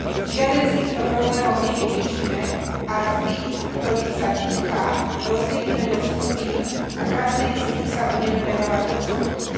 Žiaden z týchto problémov nevyriešime, ak tých, ktorých sa týka, rozdelíme do skupín a každej z nich sa budeme venovať osobitne.